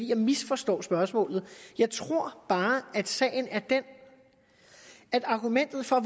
jeg misforstår spørgsmålet jeg tror bare at sagen er den at argumentet for